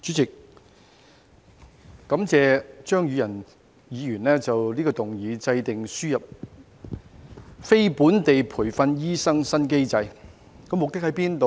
主席，感謝張宇人議員動議這項"制訂輸入非本地培訓醫生的新機制"的議案。